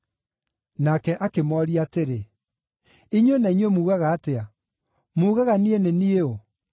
Nake akĩmooria atĩrĩ, “Inyuĩ na inyuĩ muugaga atĩa? Muugaga niĩ nĩ niĩ ũ?”